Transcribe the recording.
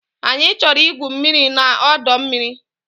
Anyị chọrọ igwu mmiri na ọdọ mmiri